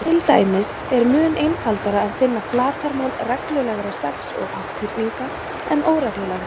Til dæmis er mun einfaldara að finna flatarmál reglulegra sex- og átthyrninga en óreglulegra.